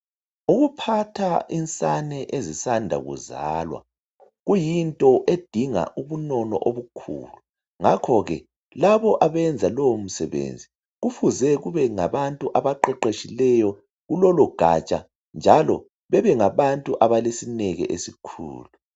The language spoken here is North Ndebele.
Ukuphatha insane ezisanda kuzalwa kuyinto edinga ubunono obukhulu ngakhoke labo abenza lowo msebenzi kufuze kube ngabantu abaqeqetshileyo kulolo gatsha njalo bebengabantu abalesineke esikhulu.